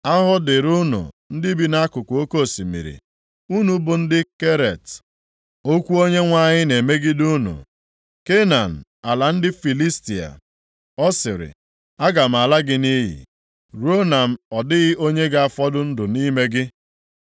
Ahụhụ dịrị unu ndị bi nʼakụkụ oke osimiri, unu bụ ndị Keret; okwu Onyenwe anyị na-emegide unu, Kenan, ala ndị Filistia. Ọ sịrị, “Aga m ala gị nʼiyi, ruo na ọ dịghị onye ga-afọdụ ndụ nʼime gị.”